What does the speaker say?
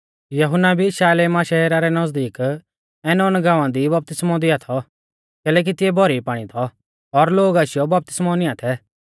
यहुन्ना भी शालेमा शहरा रै नज़दीक ऐनोन गाँवा दी बपतिस्मौ दिआ थौ कैलैकि तिऐ भौरी पाणी थौ और लोग आशीयौ बपतिस्मौ नीयां थै